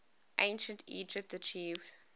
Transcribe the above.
ancient egypt achieved